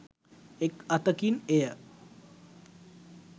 එක් අතකින් එය